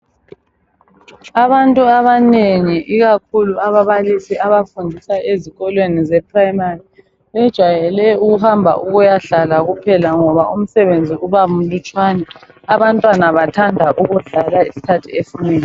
Abantu abanengi ikakhulu ababalisi abafundisa ezikolweni zeprimary bejwayele ukuhamba ukuyahlala kuphela ngoba umsebenzi uba mlutshwane. Abantwana bathanda ukudlala isikhathi esinengi.